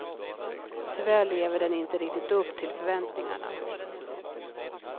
Tyvärr lever den inte riktigt upp till förväntningarna.